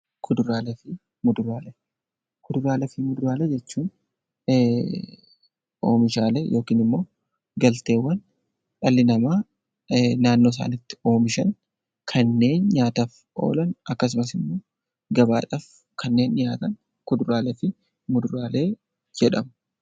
Kuduraalee fi muduraalee jechuun oomishaalee yookiin galteewwan dhalli namaa naannoo isaaniitti oomishan kanneen nyaataaf oolan akkasumas immoo gabaadhaaf kanneen dhiyaatan kuduraalee jedhama.